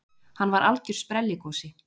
Hann var algjör sprelligosi.